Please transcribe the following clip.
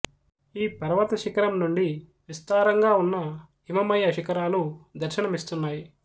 ఈ పర్వత శిఖరం నుండి విస్తారంగా ఉన్న హిమమయ శిఖరాలు దర్శనమిస్తున్నాయి